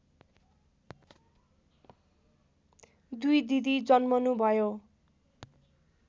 दुई दिदी जन्मनुभयो